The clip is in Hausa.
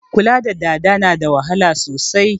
Kula da dada na da wahala sosai